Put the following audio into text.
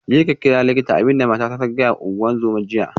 Jeka ka kira likita, abin da matata ta gaya wa ungozoma jiya